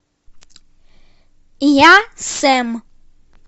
я сэм